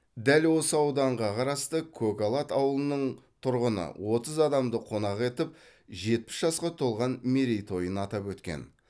дәл осы ауданға қарасты көкалат ауылының тұрғыны отыз адамды қонақ етіп жетпіс жасқа толған мерейтойын атап өткен